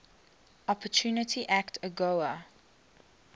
opportunity act agoa